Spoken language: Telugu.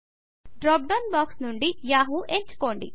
డ్రాప్ డౌన్ బాక్స్ నుండి యాహూ ఎంచుకోండి